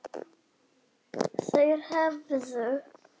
Þeir hefðu